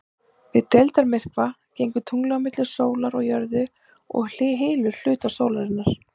Við deildarmyrkva gengur tunglið á milli sólar og jörðu og hylur hluta sólarinnar.